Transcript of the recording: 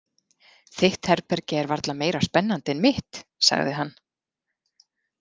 Þitt herbergi er varla meira spennandi en mitt, sagði hann.